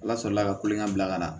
Ala sɔrɔ la ka kulonkɛ bila ka na